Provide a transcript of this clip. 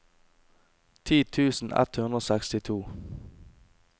ti tusen ett hundre og sekstito